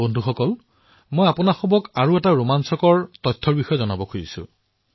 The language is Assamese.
বন্ধুসকল মই আপোনালোকক আন এক ৰোমাঞ্চকৰ তথ্য জনাবলৈ বিচাৰিছোও